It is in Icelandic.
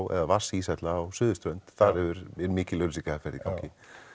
eða vatnsíshella á suðurströnd þar er mikil auglýsingaherferð í gangi